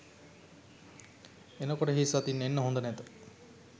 එනකොට හිස් අතින් එන්න හොද නැත